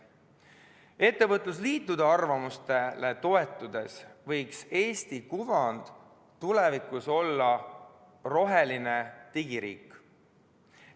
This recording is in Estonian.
Ettevõtlusliitude arvamuste kohaselt võiks Eesti kuvand tulevikus olla roheline digiriik.